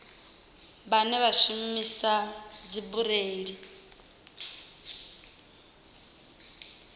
vhane vha shumisa dzibureiḽi kana